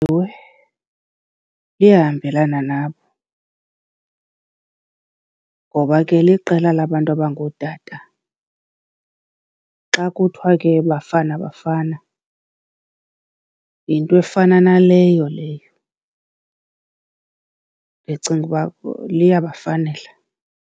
Ewe, liyahambelana nabo, ngoba ke liqela labantu abangootata. Xa kuthiwa ke Bafana Bafana, yinto efana naleyo leyo. Ndicinga uba liyabafanela.